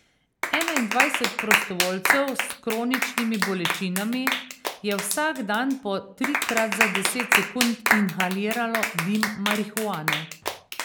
Enaindvajset prostovoljcev s kroničnimi bolečinami je vsak dan po trikrat za deset sekund inhaliralo dim marihuane.